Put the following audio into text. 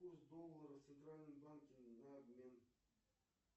курс доллара в центральном банке на обмен